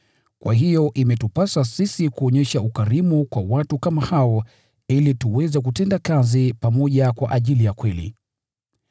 Kwa hiyo imetupasa sisi kuonyesha ukarimu kwa watu kama hao ili tuweze kutenda kazi pamoja kwa ajili ya kweli.